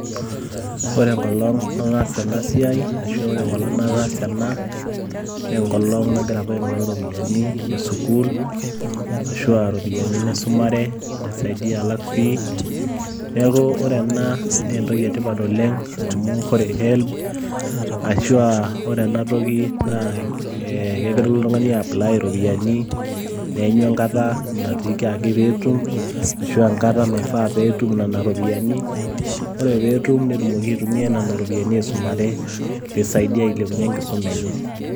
ore enkolong nataasa ena siai, ashu enkolong' nataasa ena, naa enkolong apa nagira aing'oru iropiyiani esukuul, naisaidia alak fee ,neeku ore ena naa entoki etipat oleng, amu ore helb ,ashu ore ena toki, kelo oltung'ani apply iropiyiani neeny enkata, naiteki ajo ketum, ashu enkata naifaa pee etum nena ropiyiani. ore pee etum neisaidia ailepunye enkisuma enye.